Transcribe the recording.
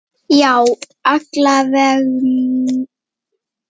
Já, alla vega mest.